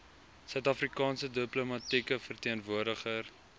suidafrikaanse diplomatieke verteenwoordiger